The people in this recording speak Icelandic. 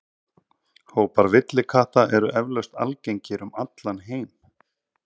Hópar villikatta eru eflaust algengir um allan heim.